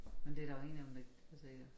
Men det der jo ingen af dem der der siger